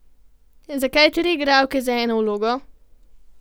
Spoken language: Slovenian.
Zakaj tri igralke za eno vlogo?